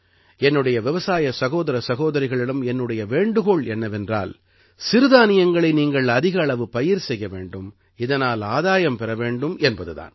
என்னுடைய விவசாய சகோதர சகோரிகளிடம் என்னுடைய வேண்டுகோள் என்னவென்றால் சிறுதானியங்களை நீங்கள் அதிக அளவு பயிர் செய்ய வேண்டும் இதனால் ஆதாயம் பெற வேண்டும் என்பது தான்